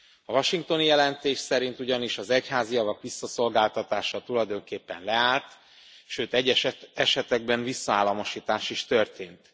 A washingtoni jelentés szerint ugyanis az egyházi javak visszaszolgáltatása tulajdonképpen leállt, sőt, egyes esetekben visszaállamosítás is történt.